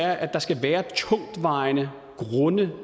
at der skal være tungtvejende grunde